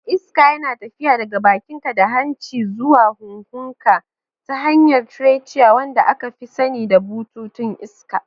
Iska yana tafiya daga bakinka da hanci zuwa huhunka ta hanyar trachea, wanda aka fi sani da bututun iska.